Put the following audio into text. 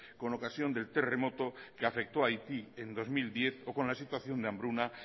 con ocasión del terremoto que afectó haití en dos mil diez o con la situación de hambruna